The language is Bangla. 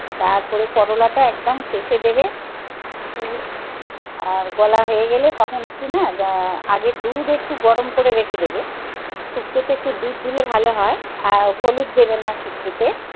তারপরে করলাটা একদম শেষে দেবে আর বলা হয়ে গেলে তখন একটু না আগে দুধ একটু গরম করে রেখে দেবে. শুক্তো তে তো একটু দুধ দিলে ভালো হয়. আর হলুদ দেবেন না শুক্তো তে,